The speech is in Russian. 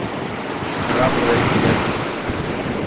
храброе сердце